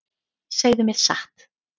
Segðu mér satt.